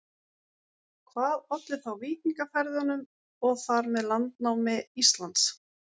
Hvað olli þá víkingaferðunum og þar með landnámi Íslands?